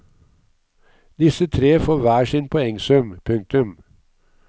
Disse tre får hver sin poengsum. punktum